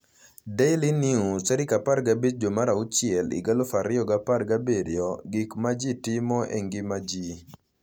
Daily News 15/6/17: "Gik ma Ji Timo e Ngima Ji"